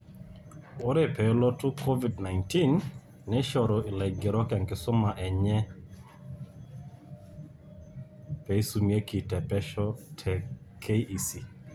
Ore peelotu Covid 19, neishoru laigerok enkisuma enye peisumareki te pesho te KEC.